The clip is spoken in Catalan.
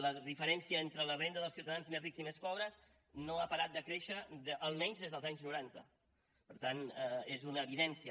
la diferència entre la renda dels ciutadans més rics i més pobres no ha parat de créixer almenys des dels anys noranta per tant és una evidència